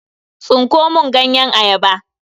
Tsinko mun ganyen ayaba.